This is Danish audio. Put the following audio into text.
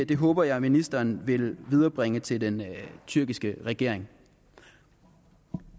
det håber jeg ministeren vil viderebringe til den tyrkiske regering